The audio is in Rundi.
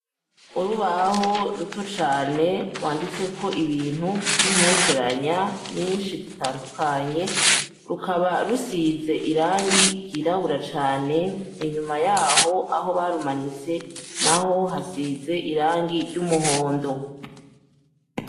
Urubaho rutoto cane rwanditseko ibintu vy'imperekeranya nyinshi zitandukanye, rukaba rusize irangi ryirabura cane, inyuma yaho aho barumanitse naho hasize irangi ry'umuhondo.